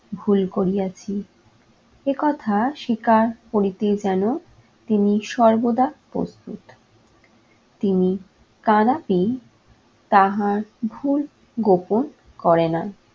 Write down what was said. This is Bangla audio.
ভুল করিয়াছি এ কথা স্বীকার করিতে যেন তিনি সর্বদা প্রস্তুত। তিনি কদাপি, তাহার ভুল গোপন করে না.